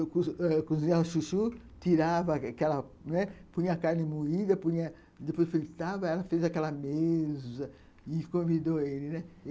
Eu cozinhava o chuchu, tirava aquela, né, punha a carne moída, punha, depois fritava, ela fez aquela mesa e convidou ele, né.